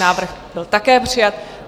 Návrh byl také přijat.